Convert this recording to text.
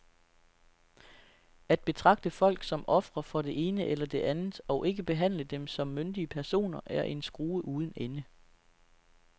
At betragte folk som ofre for det ene eller det andet og ikke behandle dem som myndige personer er en skrue uden ende.